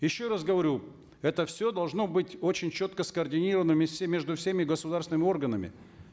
еще раз говорю это все должно быть очень четко скоординировано все между всеми государственными органами